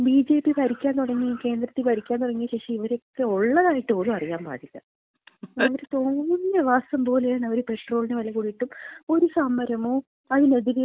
ഈ ബി.ജെ.പി. ഭരിക്കാൻ തുടങ്ങിയ ശേഷം, കേന്ദ്രത്തില് ഭരിക്കാൻ തുടങ്ങിയ ശേഷം ഇവരൊക്കെ ഒള്ളതായിട്ട് പോലും അറിയാൻ പാടില്ല. അവര് തോന്നിവാസം പോലെയാണ് അവര് പെട്രോളിന് വില കൂടിയിട്ടും, ഒരു സമരമോ അതിനെതിരെ ഒരു മാർച്ചോ,